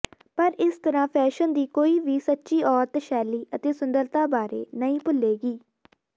ਪਰ ਇਸ ਤਰ੍ਹਾਂ ਫੈਸ਼ਨ ਦੀ ਕੋਈ ਵੀ ਸੱਚੀ ਔਰਤ ਸ਼ੈਲੀ ਅਤੇ ਸੁੰਦਰਤਾ ਬਾਰੇ ਨਹੀਂ ਭੁੱਲੇਗੀ